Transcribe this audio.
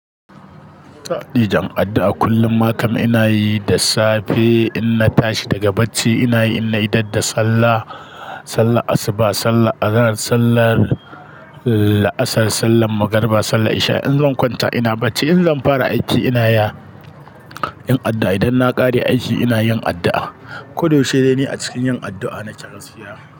Sa'di jam'a'adda a kullum makam ina yi da safe in na tashi daga bacci ina yi, in na idadda sallah, sallah asuba, sallah azahar, sallah laasar, sallah magariba, sallah isha. In zan kwanta ina bacci, in zan fara aiki ina ya yin addu'a. Idan na kare aiki ina yin addu'a. Koda wace dai ni a cikin yin addu'a na ci gaskiya.